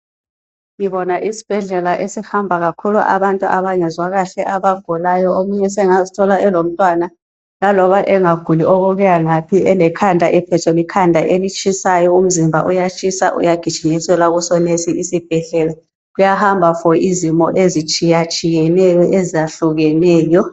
Ngibona isibhedlela esihamba kakhulu abantu abangezwa kahle abagulayo. Omunye sengazithola eselomtwana laloba engaguli okokuyangaphi, elekhanda ephethwe likhanda elitshisayo, umzimba uyatshisa. Uyagijinyiselwa kusoneso isibhedlela, uyahamba for izimo ezitshiyetshiyeneyo, ezahlukeneyo.